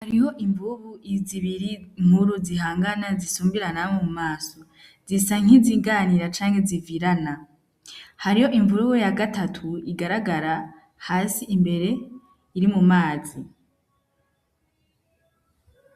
Hariho imvubu zibiri nkuru zihangana zisumbirana mu maso zisa nk'iziganira canke zivirana hariho imvubu ya gatatu igaragara hasi imbere iri mumazi.